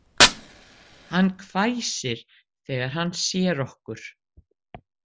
Hann hvæsir þegar hann sér okkur